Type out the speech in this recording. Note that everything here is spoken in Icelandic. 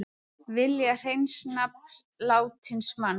Vilja hreins nafn látins manns